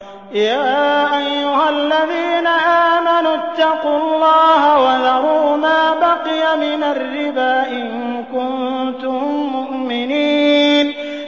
يَا أَيُّهَا الَّذِينَ آمَنُوا اتَّقُوا اللَّهَ وَذَرُوا مَا بَقِيَ مِنَ الرِّبَا إِن كُنتُم مُّؤْمِنِينَ